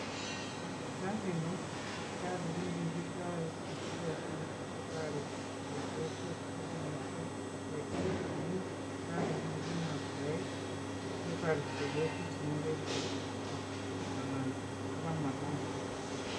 Siptalini ko siptalit nekikitoi asikobit kotoret chepyosok eng kimoswek cheterchin amu siptalit nekinoktoe sikotoret chepyosok chemoche kochut ko anan kopa mertanity.